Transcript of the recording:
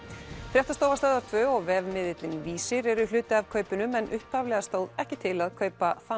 fréttastofa Stöðvar tvö og vefmiðillinn Vísir eru hluti af kaupunum en upphaflega stóð ekki til að kaupa þann